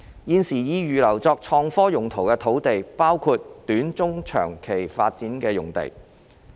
現時已預留作創科用途的土地，包括短、中、長期發展的用地。